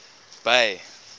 bay